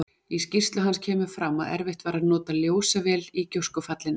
Í skýrslu hans kemur fram að erfitt var að nota ljósavél í gjóskufallinu.